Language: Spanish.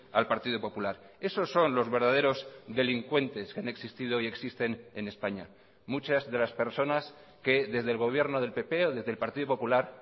al partido popular esos son los verdaderos delincuentes que han existido y existen en españa muchas de las personas que desde el gobierno del pp o desde el partido popular